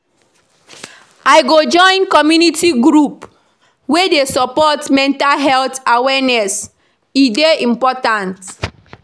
I go join community group wey dey support mental health awareness; e dey important.